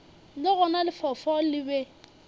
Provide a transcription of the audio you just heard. le gona lefaufau le be